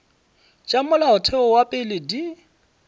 tša molaotheo wa pele di